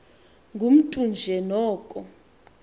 ngumntu nje noko